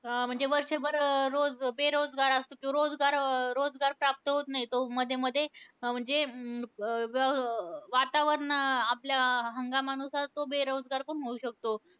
अं म्हणजे वर्षभर रोज बेरोजगार असतो, रोजगार अं रोजगार प्राप्त होत नाही तो, मधेमधे म्हणजे अं व वातावरण अं आपल्या हंगामानुसार तो बेरोजगार पण होऊ शकतो.